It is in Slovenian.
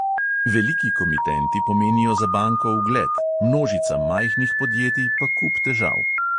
Veliki komitenti pomenijo za banko ugled, množica majhnih podjetij pa kup težav.